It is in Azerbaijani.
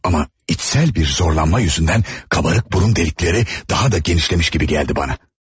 Amma daxili bir gərginlikdən dolayı qabarıq burun dəlikləri daha da genişləndiyi kimi görünürdü mənə.